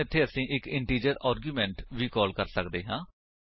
ਹੁਣ ਇੱਥੇ ਅਸੀ ਇੱਕ ਇੰਟੀਜਰ ਆਰਗਿਉਮੇਂਟ ਵੀ ਕਾਲ ਕਰ ਸੱਕਦੇ ਹਾਂ